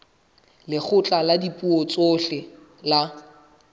lekgotla la dipuo tsohle la